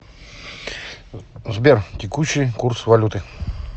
сбер текущий курс валюты